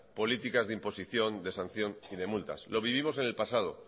políticas de imposición de sanción y de multas lo vivimos en el pasado